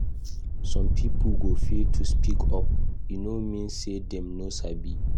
Some pipo go fear to speak up; e no mean say dem no sabi.